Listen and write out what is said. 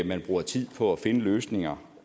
man bruger tid på at finde løsninger